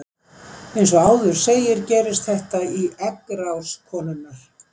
Eins og áður segir gerist þetta í eggrás konunnar.